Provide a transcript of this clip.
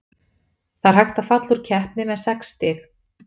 Það er hægt að falla úr keppni með sex stig.